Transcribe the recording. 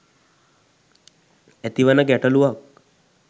ඇතිවන ගැටලුවක්.